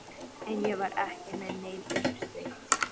En ég var ekki með neinn uppsteyt.